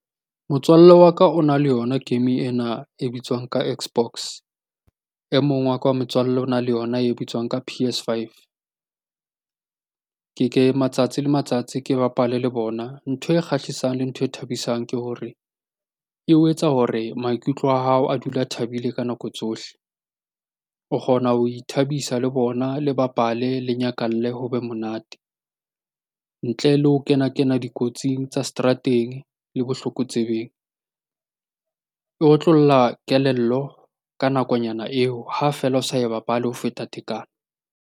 Motswalle wa ka o na le yona game ena e bitswang ka xbox, e mong wa ka wa motswalle o na le yona e bitswang ka P_S five. Matsatsi le matsatsi ke bapale le bona. Ntho e kgahlisang le ntho e thabisang ke hore eo etsa hore maikutlo a hao a dula a thabile ka nako tsohle. O kgona ho ithabisa le bona, le bapale, le nyakalle ho be monate. Ntle le ho kena-kena dikotsing tsa seterateng le botlokotsebeng. E otlolla kelello ka nakonyana eo ha feela o sa e bapale ho feta tekano.